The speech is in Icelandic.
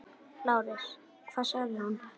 LÁRUS: Hvað sagði hún?